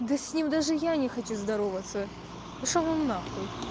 да с ним даже я не хочу здороваться пошёл он нахуй